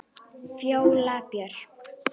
Fjóla Björk.